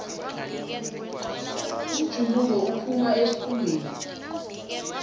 umjuluko uphuma esikhumbeni